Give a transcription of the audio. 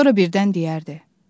Sonra birdən deyərdi: